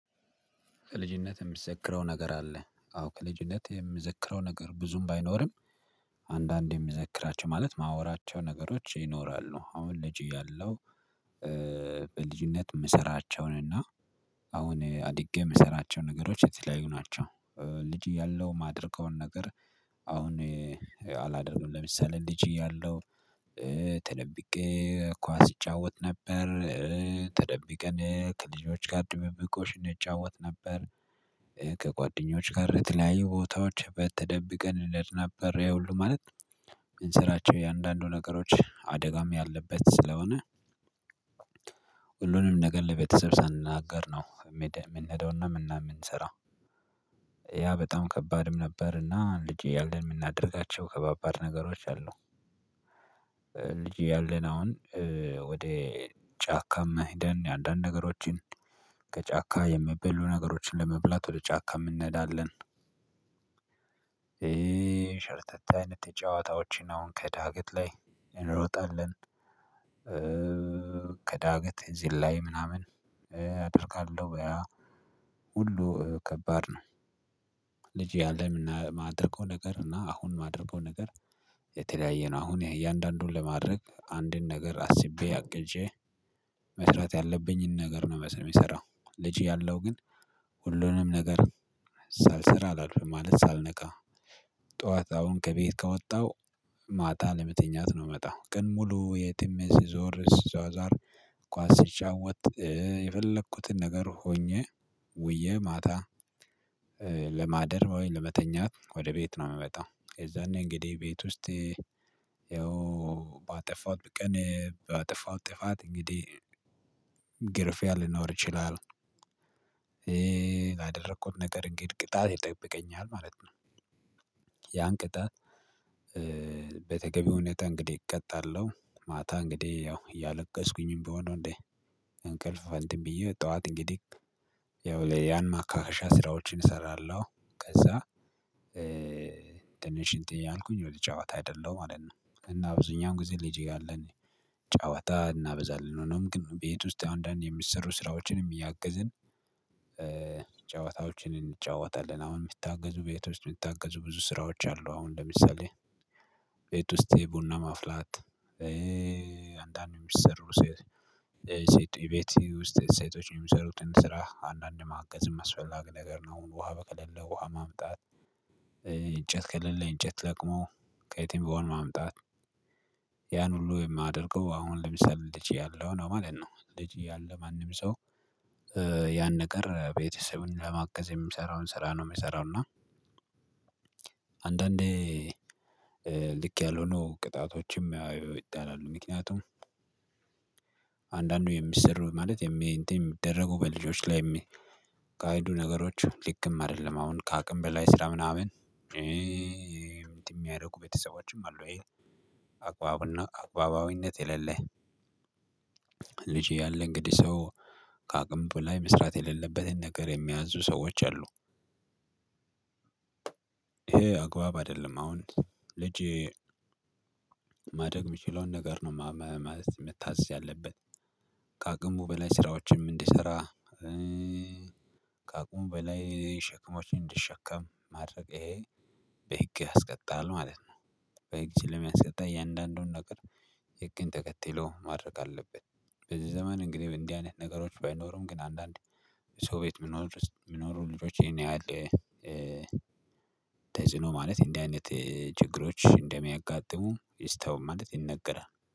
ከልጅነት የምትዘክረው ነገር አለ? አዎ ከልጅነት የምዘክረው ነገር ብዙም ባይኖርም አንዳንዴ የምዘክራቸው ማለት ማወራቸው ነገሮች ይኖራሉ። አሁን ልጅ እያለሁ በልጅነት የምሰራቸውን እና አሁን አድጌ የምሰራቸው ነገሮች የተለያዩ ናቸው። ልጅ እያለው የማደርገውን ነገር አሁን አላደርግም። ለምሳሌ ልጅ እያለሁ ተደብቄ ኳስ እጫወት ነበር፣ ተደብቀን ከልጆች ጋር ድብብቆሽን እንጫወት ነበር። ከጓደኞች ጋር የተለያዩ ቦታዎች ተደብቀን እንሄድ ነበር። ይሄ ሁሉ ማለት ምንሰራቸው አንዳንዱ ነገሮች አደጋም ያለበት ስለሆነ ሁሉንም ነገር ለቤተሰብ ሳንናገር ነው የምንሄደውና የምና፣ ምንስራው ያ በጣም ከባድም ነበርና ልጄ ያለን የምናደርጋቸው ከባባድ ነገሮች አሉ። ልጄ እያለን አሁን ወደ ጫካም ሄደን የአንዳንድ ነገሮችን ከጫካ የምበሉ ነገሮችን ለመብላት ወደ ጫካ እንነዳለን። ይሄ ሸርተቴ አይነት የጨዋታዎችን አሁን ከዳገት ላይ እንሮጣለን። ከዳገት ዝላይ ምናምን አደርጋለሁ። ያ ሁሉ ከባድ ነው። ልጄ እያለን የማደርገው ነገር እና አሁን የማደርገው ነገር የተለያየ ነው። አሁን የእያንዳንዱን ለማድረግ አንድን ነገር አስቤ አቅጄ መስራት ያለብኝን ነገር ነው ምሰራው። ልጅ እያለው ግን ሁሉንም ነገር ሳልሰራ አላልፍም፣ ማለት ሳልነካ። ጠዋት አሁን ከቤት ከወጣው ማታ ለመተኛት ነው የመጣው። ቀን ሙሉ የትም ሲዞር ስዟዟር ኳስ ሲጫወት የፈለኩትን ነገር ሆኜ ውዬ ማታ ለማደር ወይ ለመተኛት ወደ ቤት ነው የምመጣው። የዛኔ እንግዲህ ቤት ውስጥ ያው ባጠፋው ቀን ባጠፋው ጥፋት እንግዲህ ግርፊያ ልንኖር ይችላል። ያደረኩት ነገር እንግዲህ ቅጣት ይጠብቀኛል ማለት ነው። ያን ቅጣት በተገቢው ሁኔታ እንግዲህ እቀጣለሁ፣ ማታ እንግዲህ ያው እያለቀስኩኝም ቢሆን ነው እንዴ እንቅልፍ እንትን ብዬ ጠዋት እንግዲህ ያው ያን ማካከሻ ስራዎችን እሰራለሁ። ከዛ ትንሽ እንትን አልኩኝ ወደ ጨዋታ እሄዳለሁ ማለት ነው። እና ብዙኛውን ጊዜ ልጄ አለን ጨዋታ እናበዛለን። ሆኖም ግን ቤት ውስጥ አንዳንዴ የሚሰሩ ስራዎችንም እያገዘን ጨዋታዎችንን እንጫወታለን። አሁን የምታገዙ ቤቶች የምታገዙ ብዙ ስራዎች አሉ። አሁን ለምሳሌ ቤት ውስጥ ቡና ማፍላት አንዳንዴ የሚሰሩ ሴት፣ የሴት ቤት ውስጥ ሴቶች የሚሰሩትን ስራ አንዳንድ ማገዝም አስፈላጊ ነገር ነው። ውሃ ከለለ ውሃ ማምጣት፣ እንጨት ከሌለ እንጨት ለቅሞ ከየትም ቢሆን ማምጣት ያን ሁሉ የማደርገው አሁን ለምሳሌ ልጅ እያለው ነው ማለት ነው። ልጅ እያለ ማንም ሰው ያን ነገር ቤተሰብን ለማገዝ የሚሰራውን ስራ ነው የሚሰራው። እና አንዳንዴ ልክ ያልሆኑ ቅጣቶችም ይጣላሉ። ምክንያቱም አንዳንዱ የሚሰሩ ማለት የሚደረጉ በልጆች ላይ ሚካሄዱ ነገሮች ልክም አይደለም። አሁን ከአቅም በላይ ስራ ምናምን የሚያደርጉ ቤተሰቦችም አሉ። ይሄ አግባብ እና አግባባዊነት የሌለህ፣ ልጅ ያለ እንግዲህ ሰው ከአቅምቱ በላይ መስራት የሌለበትን ነገር የሚያዙ ሰዎች አሉ። ይሄ አግባብ አይደለም። አሁን ልጅ ማደረግ የምችለውን ነገር ነው ማለት መታዝዝ ያለበት። ከአቅሙ በላይ ስራዎችም እንዲሰራ ከአቅሙ በላይ ሸክሞችን እንዲሸከም ማድረግ፣ ይሄ በህግ ያስቀጣል ማለት ነው። በህግ ስለሚያስቀጣ አንዳንዱን ነገር የህግን ተከትሎ ማድረግ አለብን። በዚህ ዘመን እንግዲህ እንዲህ አይነት ነገሮች ባይኖሩም ግን አንዳንዴ ሰው ቤት የምኖሩ፣ የምኖሩ ልጆች ይሄን ያህል ተጽኖ ማለት እንዲህ አይነት ችግሮች እንደሚያጋጥሙ ይስተው ማለት ይነገራል።